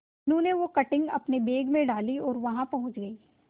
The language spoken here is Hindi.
मीनू ने वो कटिंग अपने बैग में डाली और वहां पहुंच गए